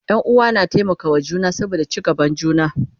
Ƴan uwa na taimaka wa juna saboda ci gaban juna